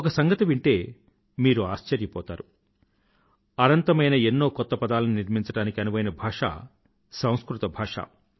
ఒక సంగతి వింటే మీరు ఆశ్చర్యపోతారు అనంతమైన ఎన్నో కొత్త పదాలని నిర్మించడానికి అనువైన భాష సంస్కృత భాష